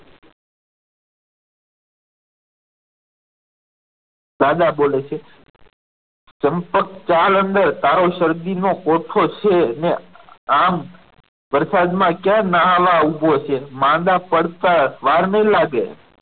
દાદા બોલે છે ચંપક ચાલ અંદર તારો શરદી નો કોઠો છે ને આમ વરસાદમાં ક્યાં નાવા ઉભો છે માંદા પડતા વાર નહીં લાગે